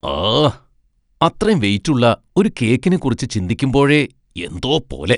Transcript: ആഹ്, അത്രേം വെയിറ്റ് ഉള്ള ഒരു കേക്കിനെക്കുറിച്ച് ചിന്തിക്കുമ്പോഴേ എന്തോ പോലെ.